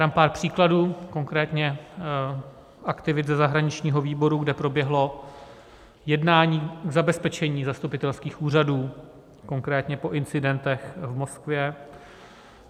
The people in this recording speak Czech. Dám pár příkladů, konkrétně aktivit ze zahraničního výboru, kde proběhlo jednání k zabezpečení zastupitelských úřadů, konkrétně po incidentech v Moskvě.